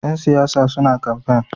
Ƴan siyasa suna kamfen.